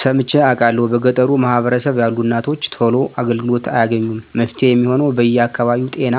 ሰምቸ አቃለሁ በገጠሩ ማህበረሰብ ያሉ እናቶች ቶሎ አገልግሎት አያገኙም መፍትሄ የሚሆነው በየ አከባቢው ጤና